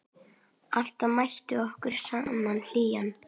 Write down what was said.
Alltaf mætti okkur sama hlýjan.